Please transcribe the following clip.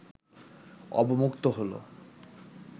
অবমুক্ত হলো